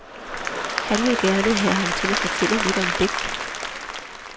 Han vil gerne have ham til at fortælle lidt om dæk.